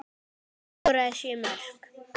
Hann skoraði sjö mörk.